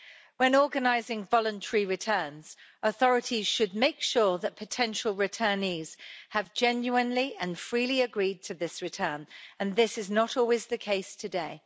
When organising voluntary returns, authorities should make sure that potential returnees have genuinely and freely agreed to this return, and this is not always the case today.